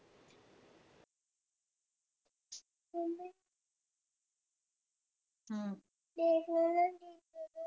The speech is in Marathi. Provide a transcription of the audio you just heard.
हम्म